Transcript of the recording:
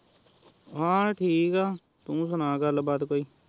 ਹਾਂ ਠੀਕ ਐ ਤੂ ਸੁਣਾ ਗੱਲ ਬਾਤ ਕੋਈ